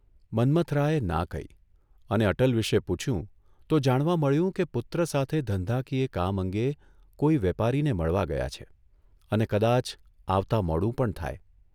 ' મન્મથરાયે ના કહી અને અટલ વિશે પૂછ્યું તો જાણવા મળ્યું કે પુત્ર સાથે ધંધાકીય કામ અંગે કોઇ વેપારીને મળવા ગયા છે અને કદાચ આવતા મોડું પણ થાય.